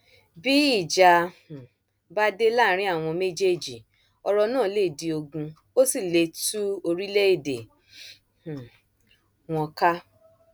bí ìjà um bá dé láàrin àwọn méjèèjì ọrọ náà lè di ogun ó sì lè tú orílẹèdè um wọn ká